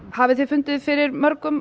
hafið þið fundið fyrir mörgum